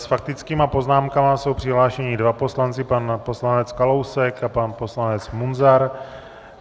S faktickými poznámkami jsou přihlášeni dva poslanci - pan poslanec Kalousek a pan poslanec Munzar.